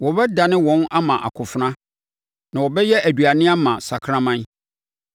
Wɔbɛdane wɔn ama akofena na wɔbɛyɛ aduane ama sakraman.